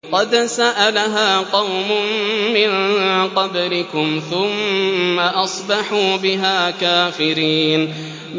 قَدْ سَأَلَهَا قَوْمٌ مِّن قَبْلِكُمْ ثُمَّ أَصْبَحُوا بِهَا كَافِرِينَ